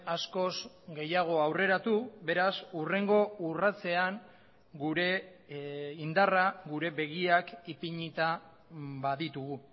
askoz gehiago aurreratu beraz hurrengo urratsean gure indarra gure begiak ipinita baditugu